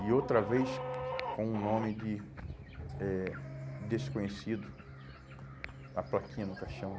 E outra vez, com um nome de eh desconhecido, a plaquinha no caixão